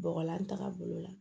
Bɔgɔlan tagabolo la